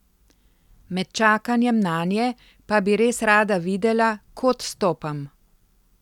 Med čakanjem nanje pa bi res rada videla, kod stopam.